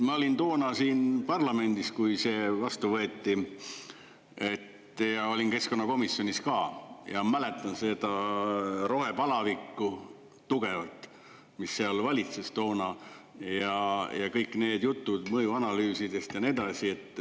Ma olin toona siin parlamendis, kui see vastu võeti, ja olin keskkonnakomisjonis ka ja mäletan seda rohepalavikku tugevalt, mis seal valitses toona, ja kõik need jutud mõjuanalüüsidest ja nii edasi.